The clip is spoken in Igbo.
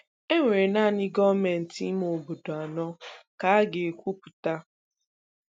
Enwere naanị gọọmentị ime obodo anọ ka a ga-ekwupụta.